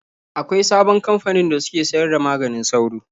Akwain sabon kamfanin da suke sayar da maganin sauro.